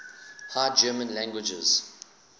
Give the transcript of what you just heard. high german languages